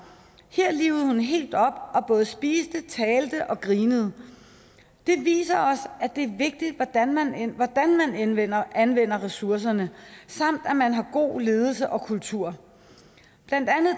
her livede hun helt op og både spiste talte og grinede det viser os at det er vigtigt hvordan man anvender anvender ressourcerne samt at man har god ledelse og kultur blandt andet